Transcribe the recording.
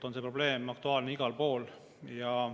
See probleem on aktuaalne igal pool.